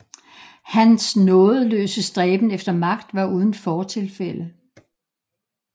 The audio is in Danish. Hans nådesløse stræben efter magt var uden fortilfælde